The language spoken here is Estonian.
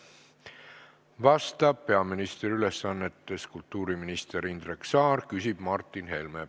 Vastab peaministri ülesannetes kultuuriminister Indrek Saar, küsib Martin Helme!